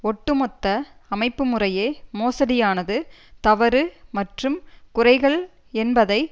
ஒட்டுமொத்த அமைப்பு முறையே மோசடியானது தவறு மற்றும் குறைகள் என்பதை